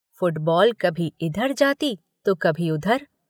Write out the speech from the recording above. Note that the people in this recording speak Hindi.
फुटबॉल कभी इधर जाती तो कभी उधर।